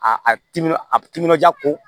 A timinan a timinandiya ko